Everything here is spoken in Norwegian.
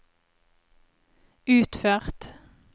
utført